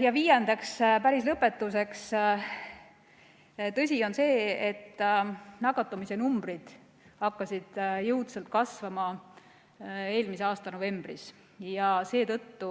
Ja viiendaks, päris lõpetuseks, tõsi on see, et nakatumisnumbrid hakkasid jõudsalt kasvama eelmise aasta novembris ja seetõttu